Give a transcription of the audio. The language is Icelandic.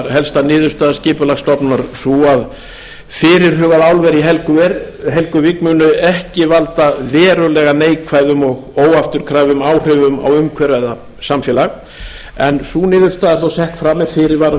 helsta niðurstaða skipulagsstofnunar er sú að fyrirhugað álver í helguvík muni ekki valda verulega neikvæðum og óafturkræfum áhrifum á umhverfi eða samfélag niðurstaðan er þó sett fram með þeim